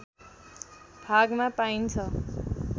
भागमा पाइन्छ